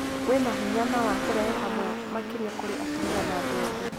wĩna hinya, na wa kũrehe hamwe, makĩria kũrĩ atumia na andũ ethĩ